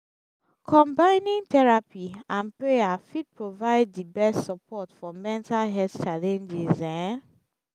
combining therapy and prayer fit provide di best support for mental health challenges. um